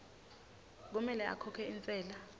kumele akhokhe intsela